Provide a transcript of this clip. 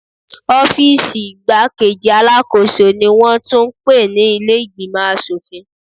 Ọ́fíìsì igbá-kejì Alákóso ni wón tún ń pè ní ilé ìgbìmò aṣòfin.